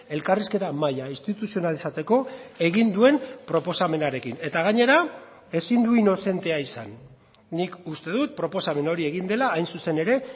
elkarrizketa maila instituzionalizatzeko egin duen proposamenarekin eta gainera ezin du inozentea izan nik uste dut proposamen hori egin dela hain zuzen ere